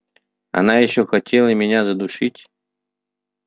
она ещё хотела меня задушить